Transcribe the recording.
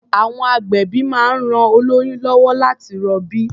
À̀wọn agbẹ̀bí máa ń ran oĺyún lọ́wọ́ láti rọbí.